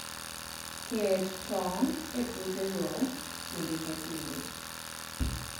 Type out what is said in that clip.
Ket tong' e puothego kinde ka kinde